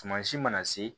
Sumansi mana se